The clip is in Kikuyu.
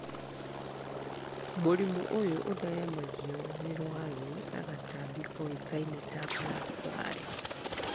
Mũrimũ ũyũ ũtheremagio nĩ rwagĩ na gatambi koĩkaine ta blackfly